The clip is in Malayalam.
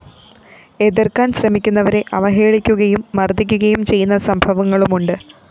എതിര്‍ക്കാന്‍ ശ്രമിക്കുന്നവരെ അവഹേളിക്കുകയും മര്‍ദ്ദിക്കുകയും ചെയ്യുന്ന സംഭവങ്ങളുമുണ്ട്